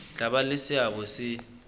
tla ba le seabo se